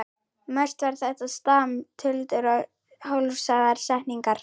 Mest var þetta stam, tuldur og hálfsagðar setningar.